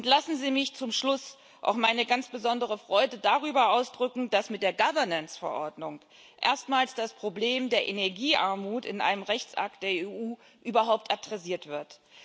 Lassen Sie mich zum Schluss auch meine ganz besondere Freude darüber ausdrücken, dass mit der Governance Verordnung erstmals das Problem der Energiearmut in einem Rechtsakt der EU überhaupt adressiert wird.